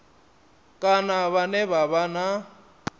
kana vhane vha vha na